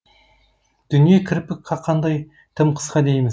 дүние кірпік қаққандай тым қысқа дейміз